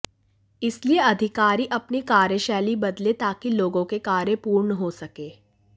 इसलिए अधिकारी अपनी कार्यशैली बदले ताकि लोगों के कार्य पूर्ण हो सके